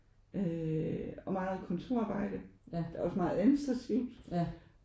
Øh og meget kontorarbejde der er også meget administrativt